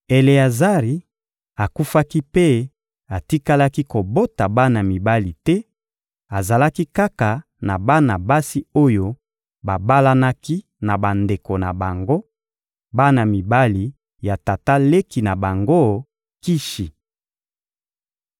Eleazari akufaki mpe atikalaki kobota bana mibali te, azalaki kaka na bana basi oyo babalanaki na bandeko na bango, bana mibali ya tata leki na bango Kishi.